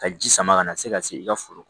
Ka ji sama ka na se ka se i ka foro